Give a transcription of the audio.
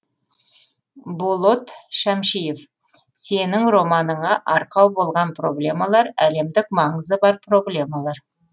болот шәмшиев сенің романыңа арқау болған проблемалар әлемдік маңызы бар проблемалар